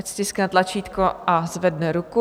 Ať stiskne tlačítko a zvedne ruku.